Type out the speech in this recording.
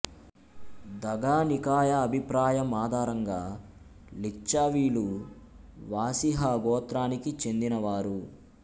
దఘా నికాయ అభిప్రాయం ఆధారంగా లిచ్చావీలు వాసిహా గోత్రానికి చెందినవారు